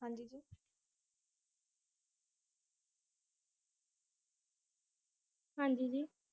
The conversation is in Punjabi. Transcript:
ਹਾਜੀ